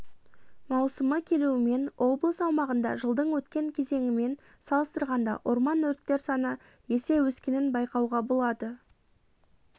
маусымы келуімен облыс аумағында жылдың өткен кезеңімен салыстырғанда орман өрттер саны есе өскенін байқауға болады